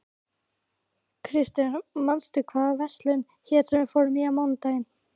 Krister, manstu hvað verslunin hét sem við fórum í á mánudaginn?